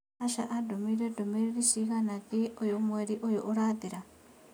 Asha andũmĩire ndũmĩrĩri cigana thiĩĩ ũyu mweri ũyũ ũrathirire?